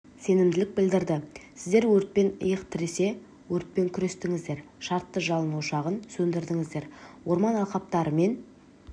сенімділік білдірді сіздер өртпен иық тіресе өртпен күрестіңіздер шартты жалын ошағын сөндірдіңіздер орман алқаптары мен